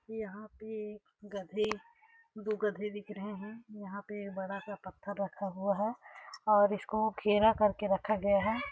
यहाँ पे गधे दो गधे दिख रहे है यहाँ पे बड़ा सा पत्थर रहा हुआ हैं और इसको घेरा करके रखा गया है।